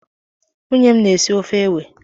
Nwunye m na-esi ofe ewe.